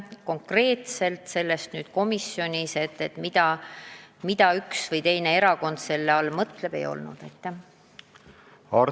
Konkreetselt sellest, mida üks või teine erakond selle tagamise all mõtleb, komisjonis aga juttu ei olnud.